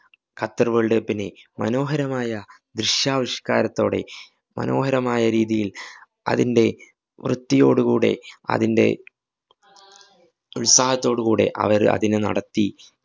Qatar‍ world cup നെ മനോഹരമായ ദ്രിശ്യാവിഷ്കകാരത്തോടെ മനോഹരമായ രീതിയില്‍ അതിൻറെ വൃത്തിയോട് കൂടെ അതിൻറെ ഉത്സാഹത്തോട് കൂടെ അവര്‍ അതിനെ നടത്തി.